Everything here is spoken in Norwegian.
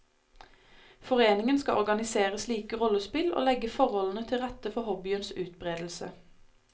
Foreningen skal organisere slike rollespill og legge forholdene til rette for hobbyens utbredelse.